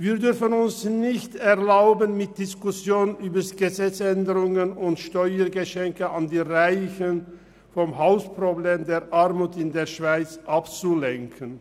Wir dürfen uns nicht erlauben, mit Diskussionen über Gesetzesänderungen und Steuergeschenken an die Reichen vom Hauptproblem der Armut in der Schweiz abzulenken.